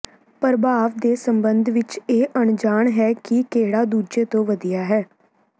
ਪ੍ਰਭਾਵ ਦੇ ਸਬੰਧ ਵਿੱਚ ਇਹ ਅਣਜਾਣ ਹੈ ਕਿ ਕਿਹੜਾ ਦੂਜੇ ਤੋਂ ਵਧੀਆ ਹੈ